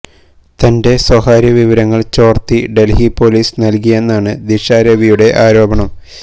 തന്റെ സ്വകാര്യ വിവരങ്ങള് ചോര്ത്തി ഡല്ഹി പൊലീസ് നല്കിയെന്നാണ് ദിഷ രവിയുടെ ആരോപണം